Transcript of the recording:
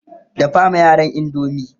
dafa ma yaran indomie!